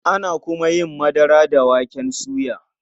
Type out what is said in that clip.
Ana kuma yin madara da waken soya.